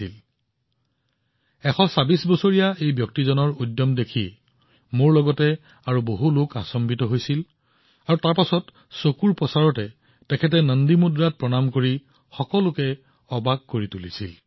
মোৰ দৰে সকলোৱে নিশ্চয় ১২৬ বছৰীয়া ব্যক্তিজনৰ ক্ষিপ্ৰতা দেখি আচৰিত হৈছিল আৰু মই দেখিছিলো চকুৰ পলকতে তেওঁ নন্দী মুদ্ৰাত নমস্কাৰ কৰিবলৈ আৰম্ভ কৰিছিল